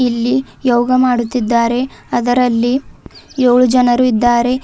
ಇಲ್ಲಿ ಯೋಗ ಮಾಡುತ್ತಿದ್ದಾರೆ ಅದರಲ್ಲಿ ಯೊಳು ಜನರು ಇದ್ದಾರೆ.